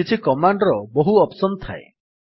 କିଛି କମାଣ୍ଡ୍ ର ବହୁ ଅପ୍ସନ୍ ଥାଏ